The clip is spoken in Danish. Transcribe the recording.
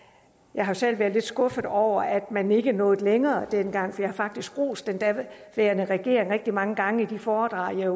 jeg har selv været lidt skuffet over at man ikke nåede længere dengang jeg har faktisk rost den daværende regering rigtig mange gange i de foredrag jeg